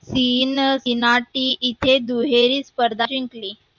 तीन गिनाठी इथे दुहेरी स्पर्धा जिंकली.